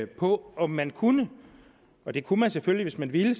på om man kunne og det kunne man selvfølgelig hvis man ville